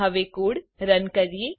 હવે code run કરીએ